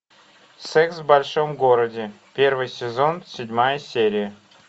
секс в большом городе первый сезон седьмая серия